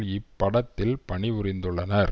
இப்படத்தில் பணி புரிந்துள்ளனர்